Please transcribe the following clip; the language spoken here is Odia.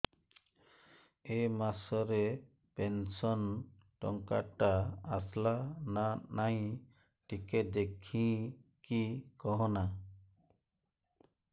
ଏ ମାସ ରେ ପେନସନ ଟଙ୍କା ଟା ଆସଲା ନା ନାଇଁ ଟିକେ ଦେଖିକି କହନା